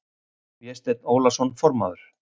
Vésteinn Ólason formaður